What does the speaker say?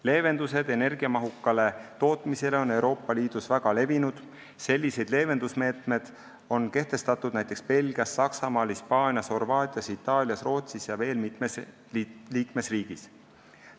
Leevendused energiamahukale tootmisele on Euroopa Liidus väga levinud, sellised meetmed on kehtestatud näiteks Belgias, Saksamaal, Hispaanias, Horvaatias, Itaalias, Rootsis ja veel mitmes liikmesriigis.